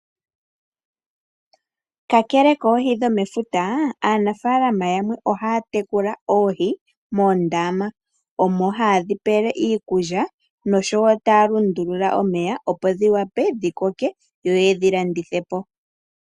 Kakele koohi dhomefuta aanafalama yamwe ohaya tekula oohi moondama. Omo hayedhi pele iikulya noshowo taya lundulula omeya opo dhi wape dhi koke yoyedhi landithepo.